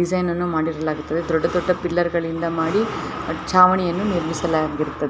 ಡಿಸೈನನ್ನು ಮಾಡಿರಲಾಗುತ್ತದೆ ದೊಡ್ಡ ದೊಡ್ಡ ಪಿಲ್ಲರ್ ಗಳಿಂದ ಮಾಡಿ ಛಾವಣಿಯನ್ನು ನಿರ್ಮಿಸಲಾಗಿರುತ್ತದೆ.